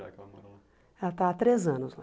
Já que ela morou lá? Ela está há três anos lá.